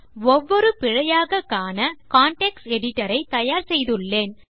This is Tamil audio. ஒவ்வொரு பிழையாக காண நான் கான்டெக்ஸ்ட் எடிட்டர் ஐ தயார் செய்துள்ளேன்